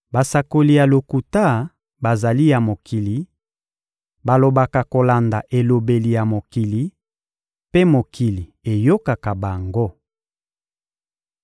Basakoli ya lokuta bazali ya mokili; balobaka kolanda elobeli ya mokili, mpe mokili eyokaka bango.